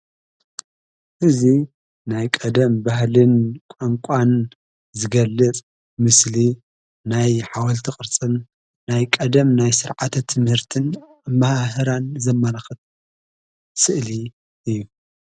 ሕዚ ናይ ቀደም ባህልን ቋንቋን ዝገልጽ ምስሊ ናይ ሓወልቲ ቕርጽን ናይ ቀደም ናይ ሥርዓተ ትምህርትን ኣመሃህራን ዘመልኽት ስእሊ እዩ።